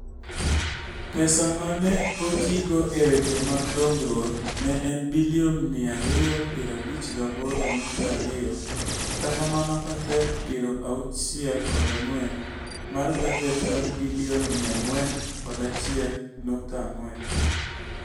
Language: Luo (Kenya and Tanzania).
Pesa ma ne otigo e weche mag dongruok ne en bilion 258.2, kata mana pasent 64 mar bajet mar bilion 401.4.